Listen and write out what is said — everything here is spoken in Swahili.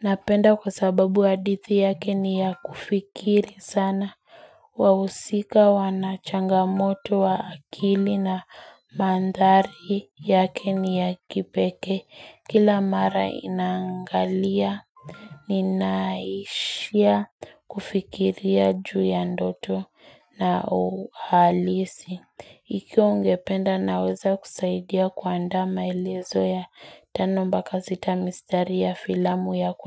Napenda kwa sababu hadithi yake ni ya kufikiri sana Wawusika wanachangamoto wa akili na mandhari yake ni ya kipeke Kila mara inangalia, ninaishia kufikiria juu ya ndoto na uhalisi. Iki ungependa naweza kusaidia kwa ndama ilizo ya tano mba kazi tamistari ya filamu ya kuna.